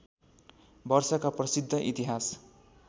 वर्षका प्रसिद्ध इतिहास